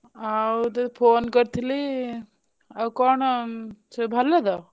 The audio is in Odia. ଆଉ ତତେ ଫୋନ କରିଥିଲ ଆଉ କଣ ସବୁ ଭଲ ତ?